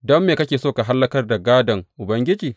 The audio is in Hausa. Don me kake so ka hallakar da gādon Ubangiji?